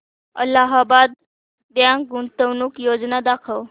Allahabad bank गुंतवणूक योजना दाखव